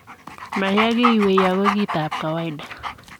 Maya kiwei ago kiit ab kawaita.